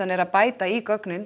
er að bæta í gögnin